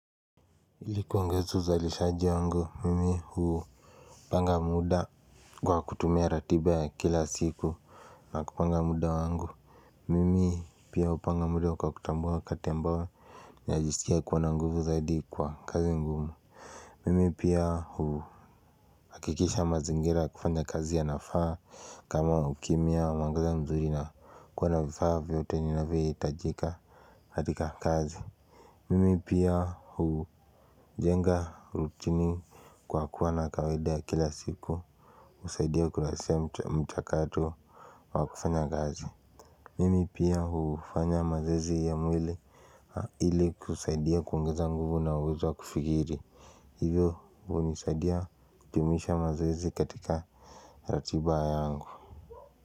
Ili kuongeza uzalishaji wangu mimi huu panga muda kwa kutumia ratiba ya kila siku. Na kupanga muda wangu mimi pia hupanga muda wa kwa kutambua wakati ambao ninajisikia kuwa na nguvu zaidi kwa kazi ngumu. Mimi pia huu hakikisha mazingira ya kufanya kazi yanafaa kama ukimya wa mangaza mzuri na kuwa na vifaa vyote vinavyohitajika katika kazi. Mimi pia hujenga rutini kwa kuwa na kawaida ya kila siku husaidia ukurasia mchakato wa kufanya gazi. Mimi pia hufanya mazoezi ya mwili ili kusaidia kuongeza nguvu na uwezo kufikiri. Hivyo hunisaidia kujumuisha mazoezi katika ratiba yangu.